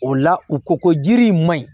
O la u ko ko jiri in maɲi